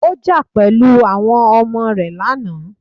Ó jà pẹ̀lú àwọn ọmọ rẹ lánàá.